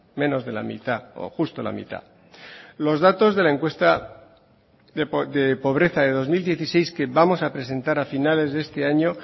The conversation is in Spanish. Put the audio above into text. menos de la mitad o justo la mitad los datos de la encuesta de pobreza de dos mil dieciséis que vamos a presentar a finales de este año